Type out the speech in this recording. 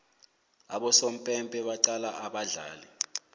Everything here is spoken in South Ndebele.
abosompempe batcala abadlali